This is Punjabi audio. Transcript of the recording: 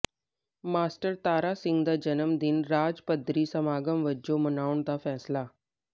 ਮਾਸਟਰ ਤਾਰਾ ਸਿੰਘ ਦਾ ਜਨਮ ਦਿਨ ਰਾਜ ਪੱਧਰੀ ਸਮਾਗਮ ਵਜੋਂ ਮਨਾਉਣ ਦਾ ਫੈਸਲਾ